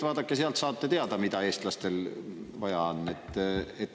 Vaadake, sealt saate teada, mida eestlastel vaja on.